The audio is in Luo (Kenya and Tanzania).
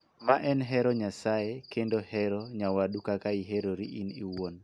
Ma en �hero Nyasaye� kendo �hero nyawadu kaka ihero in iwuon� .